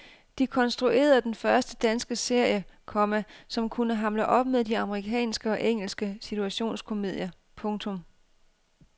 De konstruerede den første danske serie, komma som kunne hamle op med de amerikanske og engelske situationskomedier. punktum